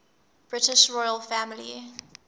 british royal family